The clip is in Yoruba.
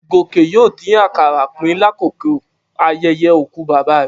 Gòkè yóò dín àkàrà pín lákòókò ayẹyẹ òkú bàbá rẹ̀.